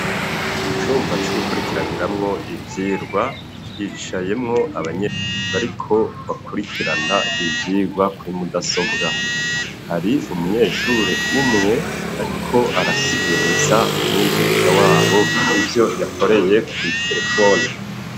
Mucumba c'ugukurikiraniramwo ivyigwa hicayemwo abanyeshure ariko bakurikirana ivyigwa kuri mudasobwa, hari umunyeshure umwe ariko arasiguza umwigisha wabo ivyo yakoreye kw'iterefone.